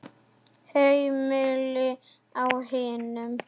Heimili á hinum.